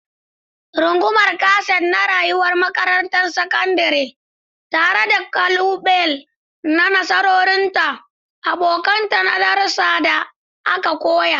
Rungumar kaset na rayuwar makarantar sakandare, tare da kalubale da nasarorinta, abokantaka da darussan da aka koya.